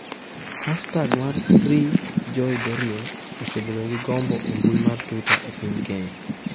Hastag mar #FreeJoyDoreen osebedo gi gombo e mbui mar Twitter e piny Kenya.